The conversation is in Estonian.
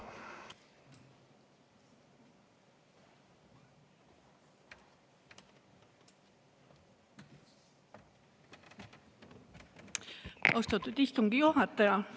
Austatud istungi juhataja!